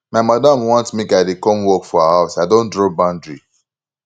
my madam want make i dey come work for her house i don draw boundary